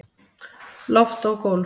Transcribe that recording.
Loft og gólf